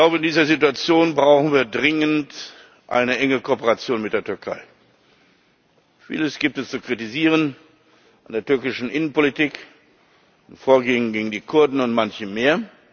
In dieser Situation brauchen wir dringend eine enge Kooperation mit der Türkei. Vieles gibt es zu kritisieren, bei der türkischen Innenpolitik, beim Vorgehen gegen die Kurden und bei manchem mehr.